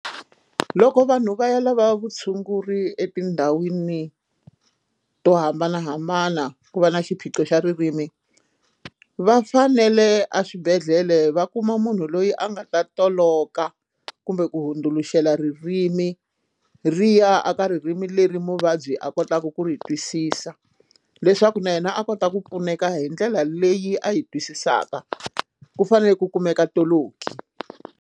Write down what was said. Loko vanhu va ya lava vutshunguri etindhawini to hambanahambana ku va na xiphiqo xa ririmi va fanele aswibedhlele va kuma munhu loyi a nga ta toloka kumbe ku hundzuluxela ririmi ri ya a ka ririmi leri muvabyi a kotaka ku ri twisisa leswaku na yena a kota ku pfuneka hi ndlela leyi a yi twisisaka ku fanele ku kumeka toloki.